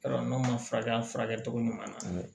Yɔrɔ n'a ma furakɛ a furakɛcogo ɲuman na